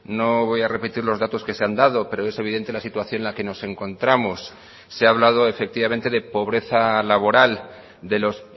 no voy a repetir los datos que se han dado pero es evidente la situación en la que nos encontramos se ha hablado efectivamente de pobreza laboral de los